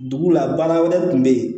Dugu la baara wɛrɛ tun bɛ yen